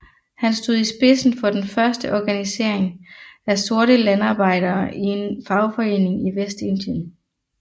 Han stod i spidsen for den første organisering af sorte landarbejdere i en fagforening i Vestindien